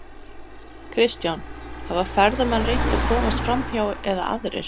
Kristján: Hafa ferðamenn reynt að komast framhjá eða aðrir?